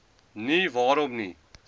nie waarom nie